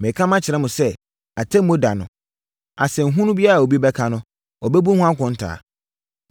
Mereka makyerɛ mo sɛ, Atemmuo da no, asɛnhunu biara a obi aka no, ɔbɛbu ho akonta.